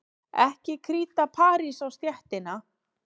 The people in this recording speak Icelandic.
Ekki kríta parís á stéttina.